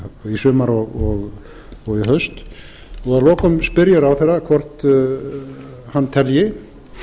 í haust að lokum spyr ég ráðherra hvort hann telji